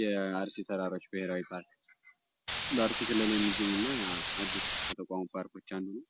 የአርሲ ተራሮች ብሄራዊ ፓርክ በአርሲ ክልል የሚገኝ እና አዲስ ከተቋቋሙ ፓርኮች አንዱ ነዉ